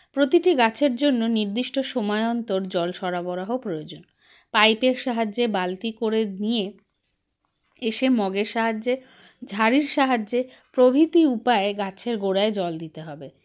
প্রতিটি গাছের জন্য নির্দিষ্ট সময় অন্তর জল সরবরাহ প্রয়োজন pipe -এর সাহায্যে বালতি করে নিয়ে এসে mug -এর সাহায্যে ঝাড়ির সাহায্যে প্রভৃতি উপায়ে গাছের গোড়ায় জল দিতে হবে